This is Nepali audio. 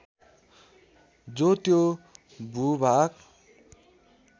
जो त्यो भूभाग